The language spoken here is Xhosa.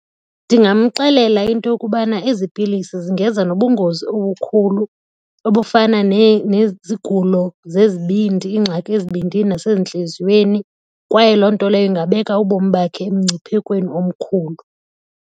Ndingamxelela into yokubana ezi pilisi zingeza nobungozi obukhulu obufana nezigulo zezibindi ingxaki ezibindini nasezintliziyweni kwaye loo nto leyo ingabeka ubomi bakhe emngciphekweni omkhulu.